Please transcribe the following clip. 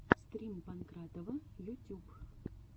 стрим панкратова ютюб